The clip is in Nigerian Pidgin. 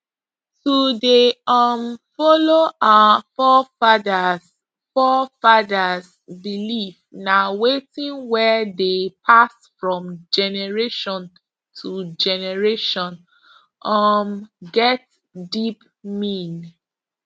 to dey um follow our forefathers forefathers belief na wetin wey dey pass from generation to generation um get deep mean